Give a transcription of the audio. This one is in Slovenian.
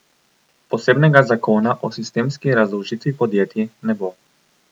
Posebnega zakona o sistemski razdolžitvi podjetij ne bo.